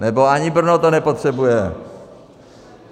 Nebo ani Brno to nepotřebuje.